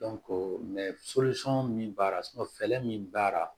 min baara fɛlɛ min baara